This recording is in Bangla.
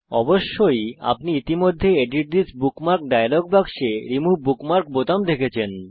অবশ্যই আপনি ইতিমধ্যে এডিট থিস বুকমার্ক ডায়লগ বাক্সে রিমুভ বুকমার্ক বোতাম দেখেছেন